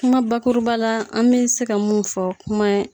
Kuma bakuruba la an bɛ se ka mun fɔ kuma ye.